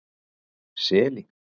Seli